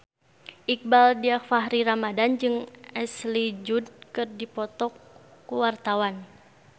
Iqbaal Dhiafakhri Ramadhan jeung Ashley Judd keur dipoto ku wartawan